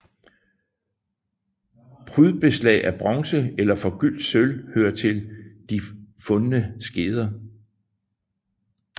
Prydbeslag af bronze eller forgyldt sølv hører til de fundne skeder